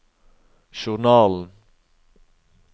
journalen